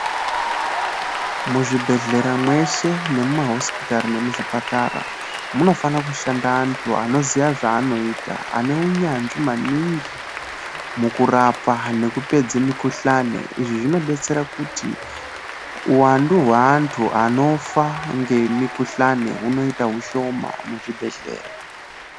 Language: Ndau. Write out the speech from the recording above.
Muzvibhedhlera mwese nemumahosipitari nemuzvipatara munofana kushanda vantu vanoziva zvavanoita vane unyanzvi maningi mukurapa ,nekupedze mikhuhlane. Izvi zvinobatsira kuti uwandu wevantu anofa nemikhuhlani hunoita ushoma muzvibhedhlera.